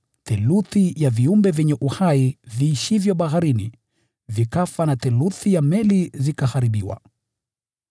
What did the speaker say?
theluthi ya viumbe vyenye uhai viishivyo baharini vikafa na theluthi ya meli zikaharibiwa.